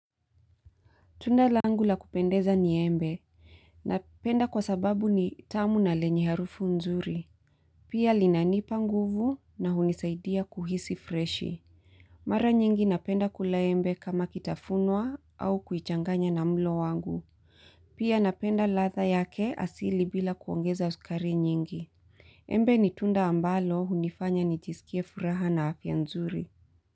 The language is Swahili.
Tunda langu la kupendeza ni embe, napenda kwa sababu ni tamu na lenye harufu nzuri. Pia linanipa nguvu na hunisaidia kuhisi freshi. Mara nyingi napenda kula embe kama kitafunwa au kuichanganya na mlo wangu. Pia napenda ladha yake asili bila kuongeza sukari nyingi. Embe ni tunda ambalo hunifanya nijisikie furaha na afya nzuri.